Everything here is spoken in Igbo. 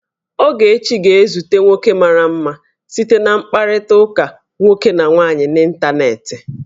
Ogechi ga-ezute nwoke mara mma site na mkpakọrịta nwoke na nwaanyị n'ịntanetị